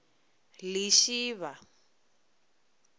lishivha